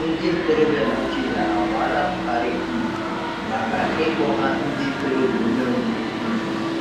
Ndị ntorobịa Naijiria anwaala Buhari um maka ịkpọ ha ndị ntorobịa umengwụ. um